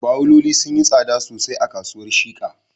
Bawuloli sun yi tsada sosai a kasuwar Shika